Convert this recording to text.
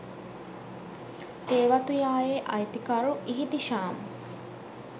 තේ වතුයායේ අයිතිකරු ඉහිතිෂාම්